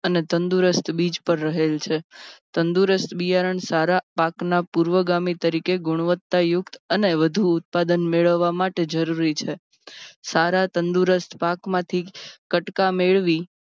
અને તંદુરસ્ત બીજ પર રહેલ છે. તંદુરસ્ત બિયારણ સારા પાક ના પૂર્વગમી તરીકે ગુણવત્તા યુક્ત અને વધુ ઉત્પાદન મેળવવા માટે જરૂરી છે. સારા તંદુરસ્ત પાક માપી કટકા મેળવી